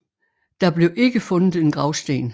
Der blev ikke fundet en gravsten